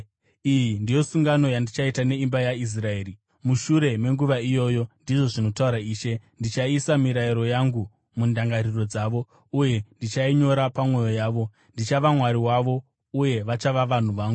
Iyi ndiyo sungano yandichaita neimba yaIsraeri, mushure menguva iyoyo, ndizvo zvinotaura Ishe. Ndichaisa mirayiro yangu mundangariro dzavo, uye ndichainyora pamwoyo yavo. Ndichava Mwari wavo, uye vachava vanhu vangu.